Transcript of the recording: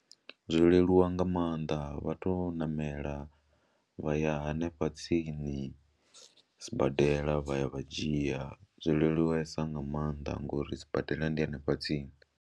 Zwo leluwa nga maanḓa vha tou ṋamela vha ya hanefha tsini sibadela vha ya vha dzhia, zwo leluwesa nga maanḓa ngori sibadela ndi hanefha tsini.